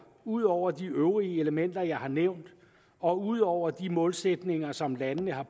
ud over de øvrige elementer jeg har nævnt og ud over de målsætninger som landene har